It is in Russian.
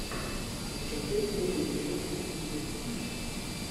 закачай первый эпизод сверхъестественного